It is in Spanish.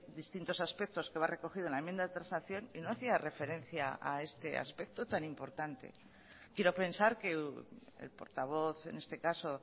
distintos aspectos que va recogido en la enmienda de transacción y no hacía referencia a este aspecto tan importante quiero pensar que el portavoz en este caso